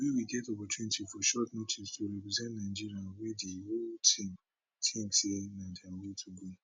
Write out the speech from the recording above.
we we get opportunity for short notice to represent nigeria wey di whole team tink say na di way to go